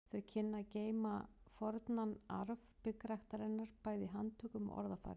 Þau kynnu að geyma fornan arf byggræktarinnar bæði í handtökum og orðafari.